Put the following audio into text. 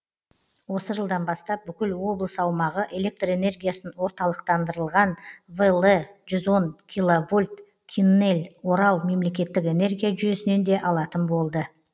осы жылдан бастап бүкіл облыс аумағы электр энергиясын орталықтандырылған вл жүз он киловольт киннель орал мемлекеттік энергия жүйесінен де алатын болды